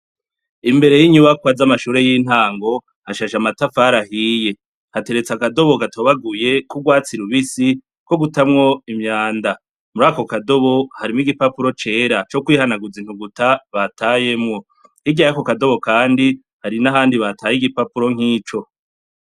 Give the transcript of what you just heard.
Imbere n'inyubakwa y'amashure y'intango, hashashe amatafari ahiye, hateretse akadobo gatobaguye Ku urwatsi rubisi ko gutamwo imyanda, murako kadobo harimwo igipapuro cera cokwihanaguza intuguta batayemwo, hirya yako kadobo kandi Hari n'ahandi bataye igipapuro nk'ico.